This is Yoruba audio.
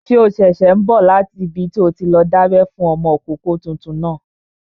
Ṣé o ṣẹ̀ṣẹ̀ n bọ̀ láti ibi tí o ti lọ dábẹ́ fún ọmọkọ́kọ́ tuntun náà?